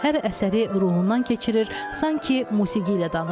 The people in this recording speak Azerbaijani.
Hər əsəri ruhundan keçirir, sanki musiqi ilə danışır.